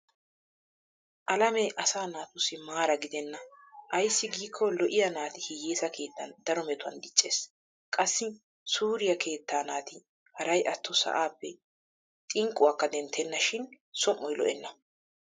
Alamee asaa naatussi maara gidenna ayssi giikko lo'iya naati hiyyesa keettan daro metuwan dicces. Qassi suriya keettaa naati haray atto sa'aappe xiqquwaakka denttenna shin som'oy lo'enna.